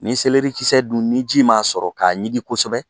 Nin dun ni ji ma sɔrɔ k'a ɲigin kosɛbɛ.